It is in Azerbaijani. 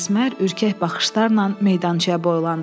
Əsmər ürkək baxışlarla meydançaya boylandı.